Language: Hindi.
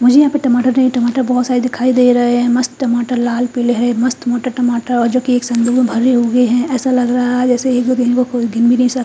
मुझे यहाँ पे टमाटर है टमाटर बहोत सारे दिखाई दे रहे है मस्त टमाटर लाल पिले है मस्त मोटे टमाटर और जो की संदूक में भरे हुए है ऐसा लग रहा है की कोई इन्हे गिन भी नहीं सकता--